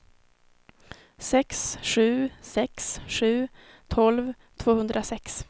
sex sju sex sju tolv tvåhundrasex